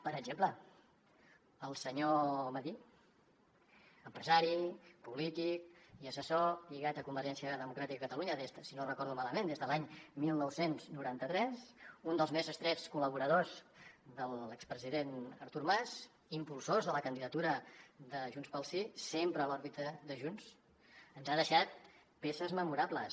per exemple el senyor madí empresari polític i assessor lligat a convergència democràtica de catalunya si no recordo malament des de l’any dinou noranta tres un dels més estrets col·laboradors de l’expresident artur mas impulsor de la candidatura de junts pel sí sempre a l’òrbita de junts ens ha deixat peces memorables